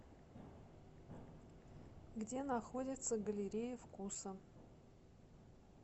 где находится галерея вкуса